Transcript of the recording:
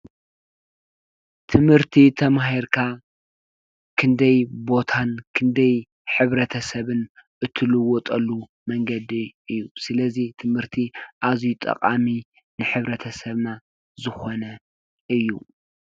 ትምህርቲ ተማሂርካ ክንደይ ቦታን ክንደይ ሕብረተሰብን እትልወጠሉ መንገዲ እዩ፡፡ ስለዚ ትምህርቲ ኣዝዩ ጠቓሚ ንሕብረተሰብና ዝኾነ እዩ፡፡